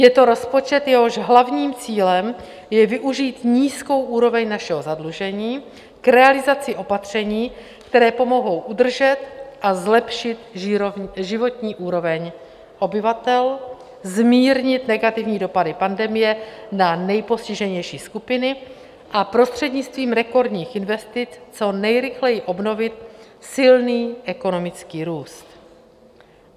Je to rozpočet, jehož hlavním cílem je využít nízkou úroveň našeho zadlužení k realizaci opatření, která pomohou udržet a zlepšit životní úroveň obyvatel, zmírnit negativní dopady pandemie na nejpostiženější skupiny a prostřednictvím rekordních investic co nejrychleji obnovit silný ekonomický růst.